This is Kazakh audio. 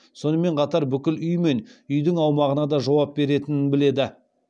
сонымен қатар бүкіл үй мен үйдің аумағына да жауап беретінін біледі